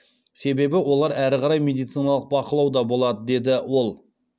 себебі олар әрі қарай медициналық бақылауда болады деді ол